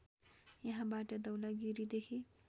यहाँबाट धौलागिरीदेखि